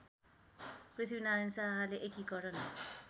पृथ्वीनारायण शाहले एकीकरण